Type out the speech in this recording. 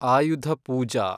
ಆಯುಧ ಪೂಜಾ